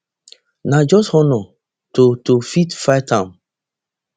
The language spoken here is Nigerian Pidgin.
na just honour to to fit fight am